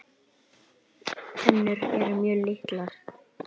Tennur eru mjög litlar.